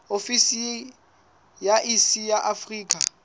ofisi ya iss ya afrika